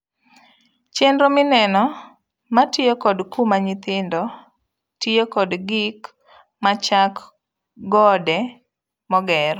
Chenro mineno matiyo kod kuma nyithindo tiyo kod gik machak gode moger'